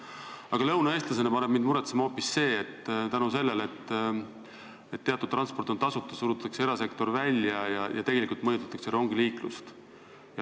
Aga lõunaeestlasena paneb mind muretsema hoopis see, et kuna teatud transport on tasuta, siis surutakse erasektor välja ja tegelikult mõjutatakse rongiliiklust.